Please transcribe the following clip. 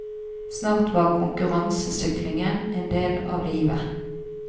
Snart var konkurransesyklingen en del av livet.